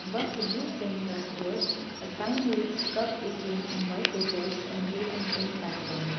above the blue frame glass doors a sign reads cub ATM in white letters on a blue and pink background.